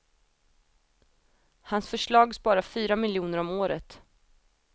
Hans förslag sparar fyra miljoner om året.